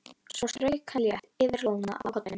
Svo strauk hann létt yfir lóna á kollinum.